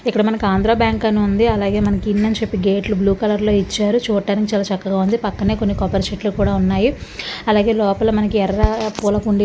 ఇక్కడ మనకు ఆంధ్ర బ్యాంక్ అని ఉంది. అలాగే మనకు ఇన్వెన్షన్ గేట్లు బ్లూ కలర్ లో ఇచ్చారు. చూడటానికి చాలా చక్కగా ఉంది. పక్కనే కొన్ని కొబ్బరి చెట్లు కూడా ఉన్నాయి . అలాగే లోపల మనకి ఎర్ర పూలకుండీ--